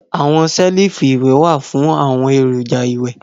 Awọn selifu iwẹ wa fun awọn eroja iwẹ